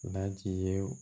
Laji ye